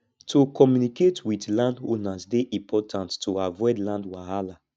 to communicate with landowners dey important to avoid land wahala